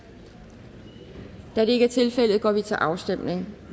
da det ikke er tilfældet går vi til afstemning